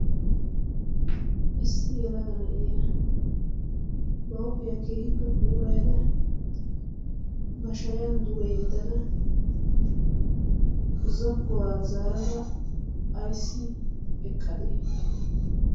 issi yalaga na'iya ba huuphiyaa keeyippe puulayada ba shayan duge yeddada zokkuwaa zaarada ayssi eqqadee